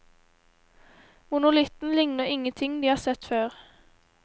Monolitten ligner ingenting de har sett før.